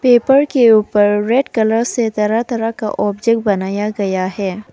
Paper के ऊपर red colour से तरह तरह के ऑब्जेक्ट बनाया हुआ है।